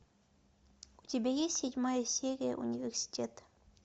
у тебя есть седьмая серия университет